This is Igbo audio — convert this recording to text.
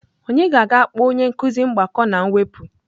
Onye ga-aga kpọọ onye nkuzi mgbakọ na mwepụ?